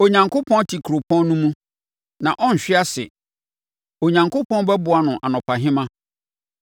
Onyankopɔn te kuropɔn no mu, na ɔrenhwe ase; Onyankopɔn bɛboa no anɔpahema.